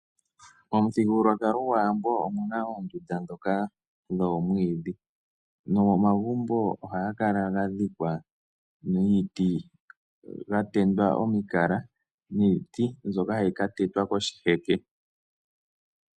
Momuthigululwakalo gwaAwambo omu na oondunda ndhoka dhoomwiidhi, nomomagumbo oha ga kala ga dhikwa niiti, ga tendwa omikala niiti, mbyoka ha yi ka tetwa koshiheke.